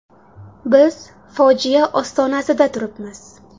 Biz fojia ostonasida turibmiz.